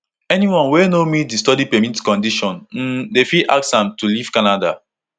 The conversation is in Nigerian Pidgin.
anyone wey no meet di study permit conditions um dem fit ask am to leave canada